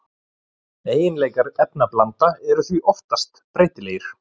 Eiginleikar efnablanda eru því oftast breytilegir.